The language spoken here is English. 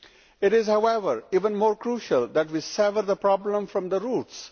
It is, however, even more crucial that we sever the problem from the roots.